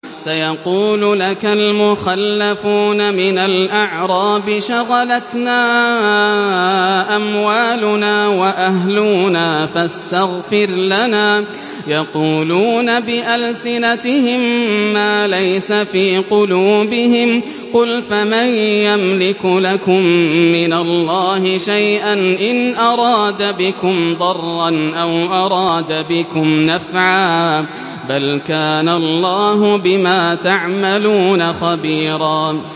سَيَقُولُ لَكَ الْمُخَلَّفُونَ مِنَ الْأَعْرَابِ شَغَلَتْنَا أَمْوَالُنَا وَأَهْلُونَا فَاسْتَغْفِرْ لَنَا ۚ يَقُولُونَ بِأَلْسِنَتِهِم مَّا لَيْسَ فِي قُلُوبِهِمْ ۚ قُلْ فَمَن يَمْلِكُ لَكُم مِّنَ اللَّهِ شَيْئًا إِنْ أَرَادَ بِكُمْ ضَرًّا أَوْ أَرَادَ بِكُمْ نَفْعًا ۚ بَلْ كَانَ اللَّهُ بِمَا تَعْمَلُونَ خَبِيرًا